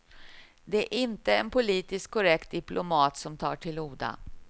Det är inte en politiskt korrekt diplomat som tar till orda.